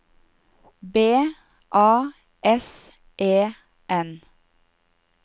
B A S E N